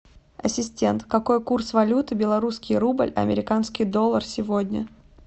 ассистент какой курс валюты белорусский рубль американский доллар сегодня